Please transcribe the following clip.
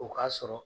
O k'a sɔrɔ